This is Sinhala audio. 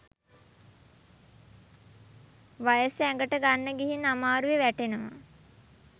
වයස ඇඟට ගන්න ගිහින් අමාරුවෙ වැටෙනවා.